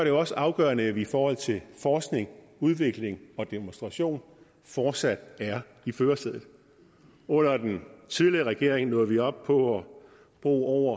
jo også afgørende at vi i forhold til forskning udvikling og demonstration fortsat er i førersædet under den tidligere regering nåede vi op på at bruge